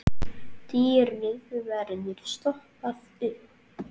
Dýrið verður stoppað upp.